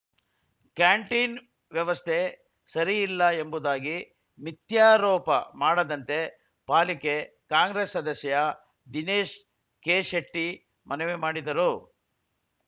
canteen ವ್ಯವಸ್ಥೆ ಸರಿ ಇಲ್ಲ ಎಂಬುದಾಗಿ ಮಿಥ್ಯಾರೋಪ ಮಾಡದಂತೆ ಪಾಲಿಕೆ ಕಾಂಗ್ರೆಸ್‌ ಸದಸ್ಯ ದಿನೇಶ ಕೆ ಶೆಟ್ಟಿ ಮನವಿ ಮಾಡಿದರು